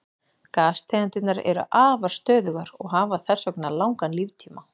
Gastegundirnar eru afar stöðugar og hafa þess vegna langan líftíma.